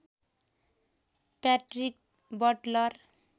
Patrick Buttler